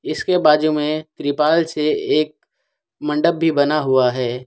इसके बाजू में त्रिपाल से एक मंडप भी बना हुआ है।